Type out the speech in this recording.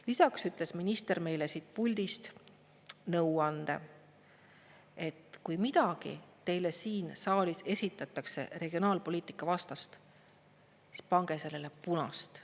Lisaks ütles minister meile siit puldist nõuande, et kui midagi teile siin saalis esitatakse regionaalpoliitika vastast, siis pange sellele punast.